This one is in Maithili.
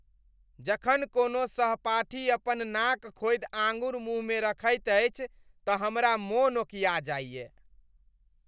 जखन कोनो सहपाठी अपन नाक खोदि आँगुर मुँह मे रखैत अछि तँ हमरा मोन ओकिया जाइए।